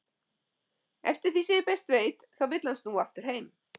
Eftir því sem ég best veit þá vill hann snúa aftur heim.